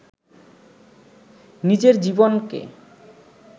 নিজের জীবনকে